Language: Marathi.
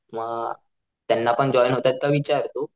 म त्यांना पण जॉईन होतात का विचार तू